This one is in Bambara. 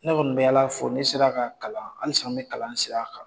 Ne kɔni bɛ Ala fo ,ne sera ka kalan , halisa n bɛ kalan sira kan!